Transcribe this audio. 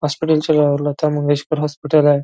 Hospital च्या road ला Lata Mangeshkar hospital आहे.